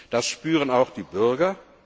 Das spüren auch die Bürger.